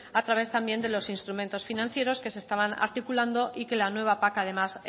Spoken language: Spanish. a través también de los instrumentos financieros que se estaban articulando y que la nueva pac además